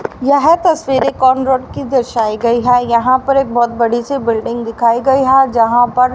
यह तस्वीर एक कौन रोड की दर्शाई गई है यहां पर एक बहुत बड़ी सी बिल्डिंग दिखाई गई है जहां पर --